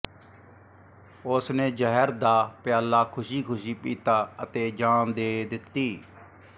ਉਸ ਨੇ ਜ਼ਹਿਰ ਦਾ ਪਿਆਲਾ ਖੁਸ਼ੀ ਖੁਸ਼ੀ ਪੀਤਾ ਅਤੇ ਜਾਨ ਦੇ ਦਿੱਤੀ